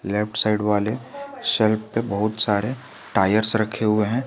Left side वाले shelf पे बहुत सारे टायर्स रखे हुए हैं।